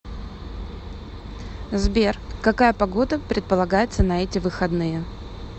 сбер какая погода предполагается на эти выходные